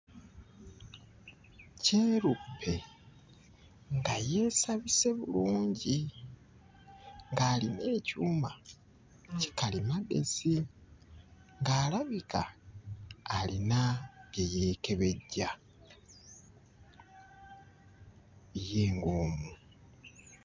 Kyeruppe nga yeesabise bulungi ng'alina ekyuma kikalimagezi ng'alabika alina bye yeekebejja ye ng'omu.